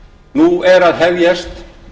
nú er að hefjast